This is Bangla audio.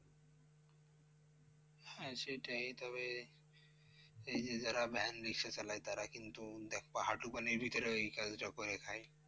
হ্যাঁ সেটাই, তবে এই যে যারা ভ্যান রিক্সা চালায় তারা কিন্তু একপা হাঁটু পানির ভিতরেও এই কাজটা করে খায়।